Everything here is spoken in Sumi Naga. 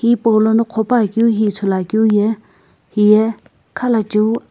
hipaulono qhopuakeu hi ithuluakeu ye hiye khalachiu.